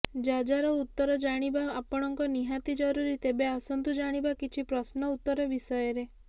ଯାଯାର ଉତର ଜାଣିବା ଆପଣଙ୍କ ନିହାତି ଜରୁରୀ ତେବେ ଆସନ୍ତୁ ଜାଣିବା କିଛି ପ୍ରଶ୍ନ ଉତ୍ତର ବିଷୟରେ